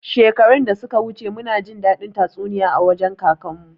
Shekaru da suka wuce muna jin daɗin tatsuniya a wajen kakan mu